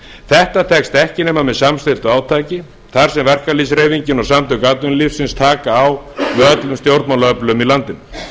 þetta tekst ekki nema með samstilltu átaki þar sem verkalýðshreyfingin og samtök atvinnulífsins taka á með öllum stjórnmálaöflum í landinu